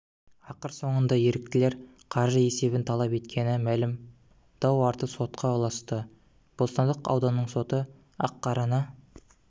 ақыр соңында еріктілер қаржы есебін талап еткені мәлім дау арты сотқа ұласты бостандық ауданының соты ақ-қараны